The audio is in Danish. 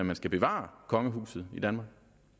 man skal bevare kongehuset i danmark